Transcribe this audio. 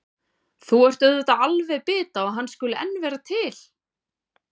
Þú ert auðvitað alveg bit á að hann skuli enn vera til.